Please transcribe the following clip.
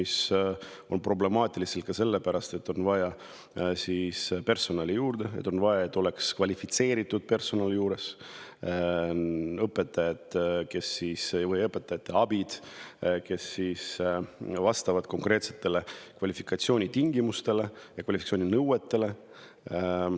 See on problemaatiline ka selle pärast, et juurde on vaja personali, kvalifitseeritud personali: õpetajaid või õpetajaabisid, kes vastavad konkreetsetele kvalifikatsioonitingimustele, kvalifikatsiooninõuetele.